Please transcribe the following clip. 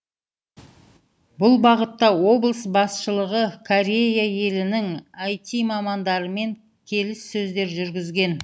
бұл бағытта облыс басшылығы корея елінің іт мамандарымен келіссөздер жүргізген